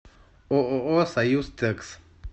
ооо союзтекс